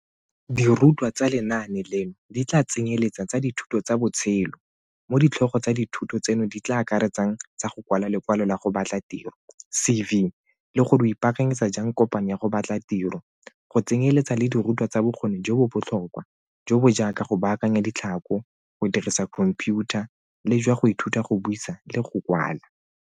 Dirutwa tsa lenaane leno di tla tsenyeletsa tsa dithuto tsa botshelo mo ditlhogo tsa dithuto tseno di tla akaretsang tsa go kwala lekwalo la go batla tiro CV le gore o ipaakanyetsa jang kopano ya go batla tiro, go tsenyeletsa le dirutwa tsa bokgoni jo bo botlhokwa, jo bo jaaka go baakanya ditlhako, go dirisa khomphiutha le jwa go ithuta go buisa le go kwala.